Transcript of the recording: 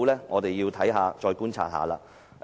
我們需要再觀察一下。